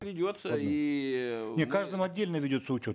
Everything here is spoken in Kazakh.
ведется иии не каждому отдельно ведется учет